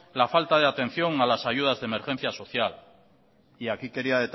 la falta de atención a las ayudas de emergencia social y aquí quería